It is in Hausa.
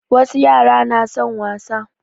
Wasu yara na son wasa